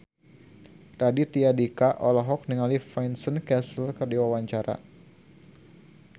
Raditya Dika olohok ningali Vincent Cassel keur diwawancara